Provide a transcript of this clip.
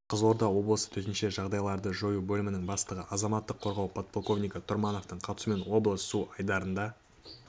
қызылорда облысы төтенше жағдайларды жою бөлімінің бастығы азаматтық қорғау подполковнигі тұрмановтың қатысуымен облыс су айдындарында